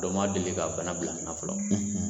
u ma deli ka bana bila ne na fɔlɔ